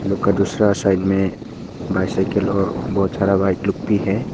लोग का दूसरा साइड में बाइसाइकिल और बहोत सारा बाइक लोग भी है।